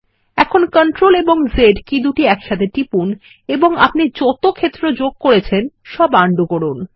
এখন CTRL Z কী একসাথে টিপুন এবং আপনি যত ক্ষেত্র যোগ করেছেন সব আনডু করুন